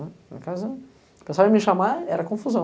né. Lá em casa, o pessoal ia me chamar, era confusão.